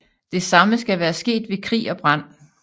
Det samme skal være sket ved krig og brand